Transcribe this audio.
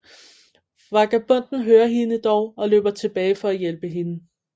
Vagabonden hører hende dog og løber tilbage for at hjælpe hende